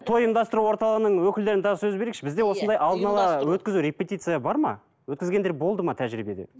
той ұйымдастыру орталығының өкілдеріне тағы сөз берейікші бізде осындай алдына ала өткізу репетиция бар ма өткізгендер болды ма тәжірибеде